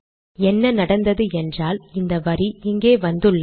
என்ன நடந்தது என்றால் இந்த வரி இங்கே வந்துள்ளது